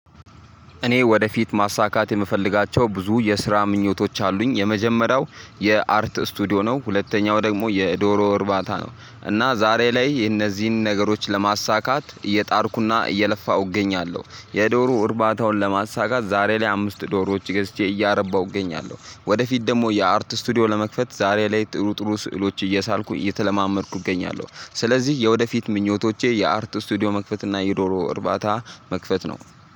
እኔ ወደፊት ማሳካት የምፈልጋቸው ብዙ የስራ ምኞቶች አሉኝ። የመጀመሪያው የአርት ስቱዲዮ ነው ሁለተኛው ደግሞ የዶሮ እርባታ ነው። እና ዛሬ ላይ እነዚህን ነገሮች ለማሳካት እየጣርኩና እየለፋሁ እገኛለሁ። የዶሮ እርባታውን ለማሳካት ዛሬ ላይ አምስት ዶሮዎች ገዝቼ እያረባሁ እገኛለሁ። ወደፊት ደግሞ የአርት ስቱዲዮ ለመክፈት ዛሬ ላይ ጥሩ ጥሩ ስዕሎች እየሳልኩ እየተለማመድኩ እገኛለሁ። ስለዚህ የወደፊት ምኞቶቼ የአርት ስቱዲዮ መክፈት እና የዶሮ እርባታ መክፈት ነው